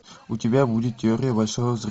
у тебя будет теория большого взрыва